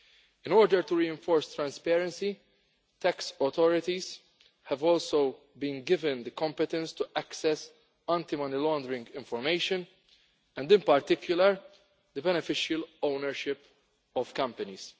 In order to reinforce transparency, tax authorities have also been given the competence to access anti money laundering information, in particular on the beneficial ownership of companies.